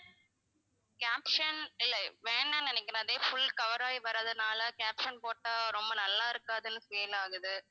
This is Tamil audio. caption இல்ல வேணாம்னு நினைக்கிறேன் அதுவே full cover ஆகி வர்றதுனால caption போட்டா ரொம்ப நல்லா இருக்காதுன்னு feel ஆகுது